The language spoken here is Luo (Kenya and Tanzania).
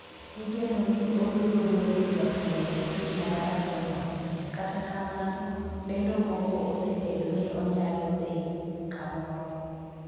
Igeno ni obiro bedo jatelo e tim mar Arsenal kata kamano ,lendo moko osebedo ni onyalo dhi kamoro